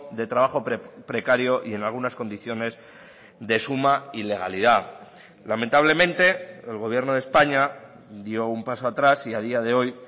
de trabajo precario y en algunas condiciones de suma ilegalidad lamentablemente el gobierno de españa dio un paso atrás y a día de hoy